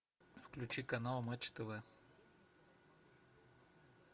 включи канал матч тв